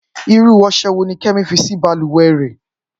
Irú ọṣẹ wo ni Kẹ́mi fi sí balùwẹ̀ rẹ̀?